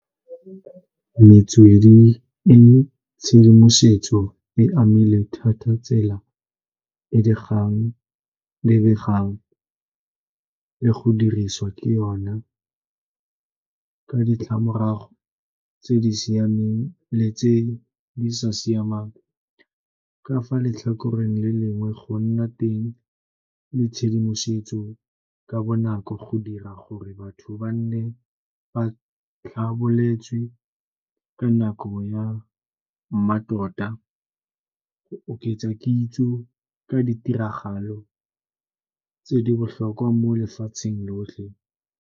Metswedi e tshedimosetso e amilwe thata tsela e dikgang lebegang le go dirisiwa ke yona ka ditlamorago tse di siameng le tse di sa siamang. Ka fa letlhakoreng le lengwe go nna teng le tshedimosetso ka bonako go dira gore batho ba nne ba tlhaboletswe ka nako ya mmatota, go oketsa kitso ka ditiragalo tse di botlhokwa mo lefatsheng lotlhe.